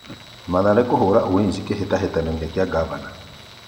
Mathare kũhũra Ulinzi Kĩhĩtahĩtanoinĩ gĩa Ngavana